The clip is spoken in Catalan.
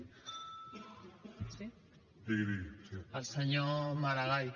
sí al senyor maragall